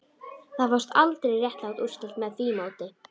Það fást aldrei réttlát úrslit með því móti